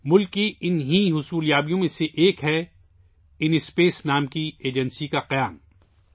ملک کی ان کامیابیوں میں سے ایک اِن اسپیس نامی ایجنسی کا قیام ہے